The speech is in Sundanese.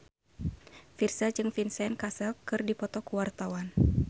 Virzha jeung Vincent Cassel keur dipoto ku wartawan